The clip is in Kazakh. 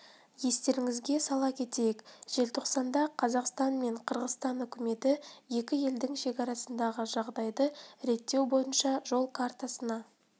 естеріңізге сала кетейік желтоқсанда қазақстан мен қырғызстан үкіметі екі елдің шекарасындағы жағдайды реттеу бойынша жол картасына